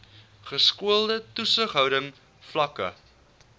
geskoolde toesighouding vlakke